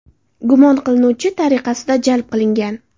gumon qilinuvchi tariqasida jalb qilingan.